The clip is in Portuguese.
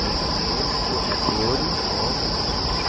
Eram faxineiros, professores, homens e os meninos.